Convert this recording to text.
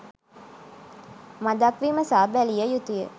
මඳක් විමසා බැලිය යුතුය.